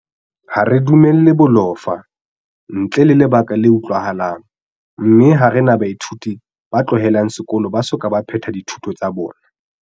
Ha re dumelle bolofa, ntle le lebaka le utlwahalang, mme ha re na baithuti ba tlohelang sekolo ba soka ba phethela dithuto tsa bona.